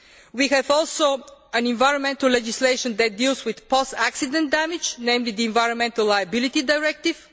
We also have environmental legislation that deals with post accident damage, namely the Environmental Liability Directive.